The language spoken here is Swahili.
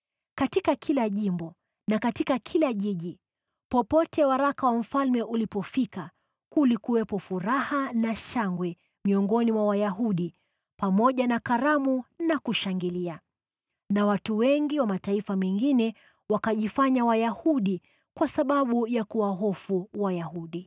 Katika kila jimbo na katika kila jiji, popote waraka wa mfalme ulipofika, kulikuwepo furaha na shangwe miongoni mwa Wayahudi, pamoja na karamu na kushangilia. Na watu wengi wa mataifa mengine wakajifanya Wayahudi kwa sababu ya kuwahofu Wayahudi.